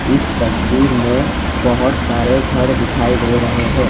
इस तस्वीर में बहुत सारे घर दिखाई दे रहे हैं।